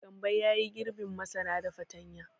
Gambo ya yi girbin masara da fatanya.